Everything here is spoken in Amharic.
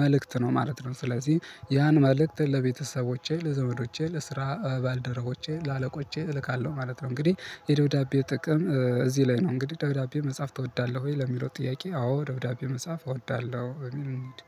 መልእክት ነው ማለት ነው። ስለዚህ ያን መልእክት ለቤተሰቦቼ ለዘውዶቼ ለስራ ባልደረቦቼ ለአለቆቼ እልካለሁ ማለት ነው። እንግዲህ የደብዳቤ ጥቅም እዚህ ላይ ነው እንግዲህ ደብዳቤ መጻፍ ትወዳለሁ ወይ ለሚለው ጥያቄ አዎ ደብዳቤ መጻፍ እወዳለሁ። እኔም እሄድ